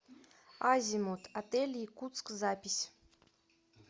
азимут отель якутск запись